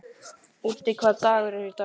Úddi, hvaða dagur er í dag?